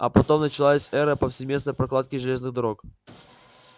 а потом началась эра повсеместной прокладки железных дорог